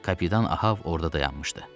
Kapitan Ahav orada dayanmışdı.